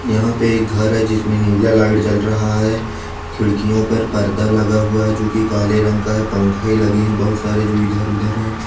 यहाँ पे एक घर है जिसमें नीला लाइट जल रहा है खिड़कियों पर पर्दा लगा हुआ है जो की काले रंग का है पंखे लगे हैं बहुत सारे जो इधर-उधर हैं।